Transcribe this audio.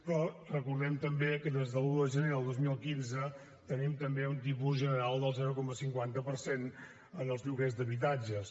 però recordem també que des de l’un de gener del dos mil quinze tenim també un tipus general del zero coma cinquanta per cent en els lloguers d’habitatges